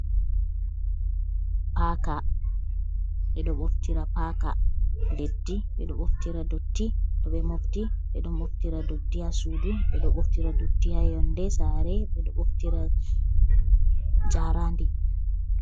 Paaka. Ɓeɗo ɓoftira paka leddi, ɓe ɗo ɓoftira dotti, to ɓe mofti. Ɓe ɗo moftira dotti ha shuɗi, ɓe ɗo ɓoftira dutti ha yonde sare. Ɓe ɗo ɓoftira jaraandi.